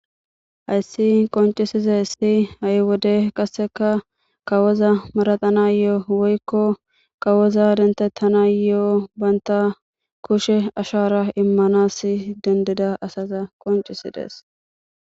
Hayssi qoncisize si ha'i wode qasseka kawoza maraxana yo'o woykko kawoza dentettana yo'o baynta kushe ashara immanas dendida asaza qoncisidees.